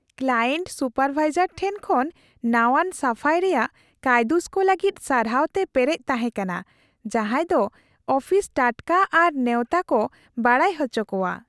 Client supervisor ᱴᱷᱮᱱ ᱠᱷᱚᱱ ᱱᱟᱣᱟᱱ ᱥᱟᱯᱷᱟᱭ ᱨᱮᱭᱟᱜ ᱠᱟᱭᱫᱩᱥ ᱠᱚ ᱞᱟᱹᱜᱤᱫ ᱥᱟᱨᱦᱟᱣ ᱛᱮ ᱯᱮᱨᱮᱡ ᱛᱟᱦᱮᱸ ᱠᱟᱱᱟ ᱡᱟᱸᱡᱟᱫᱚ ᱟᱯᱷᱤᱥ ᱴᱟᱴᱠᱟ ᱟᱨ ᱱᱮᱣᱛᱟ ᱠᱚ ᱵᱟᱰᱟᱭ ᱦᱚᱪᱚ ᱠᱚᱣᱟ ᱾